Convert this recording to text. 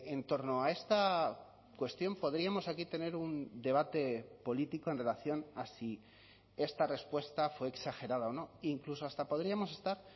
en torno a esta cuestión podríamos aquí tener un debate político en relación a si esta respuesta fue exagerada o no incluso hasta podríamos estar